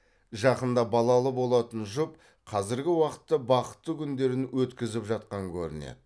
жақында балалы болатын жұп қазіргі уақытта бақытты күндерін өткізіп жатқан көрінеді